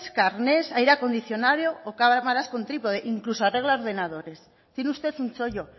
carnés aire acondicionado o cámaras con trípode incluso arregla ordenadores tiene usted un chollo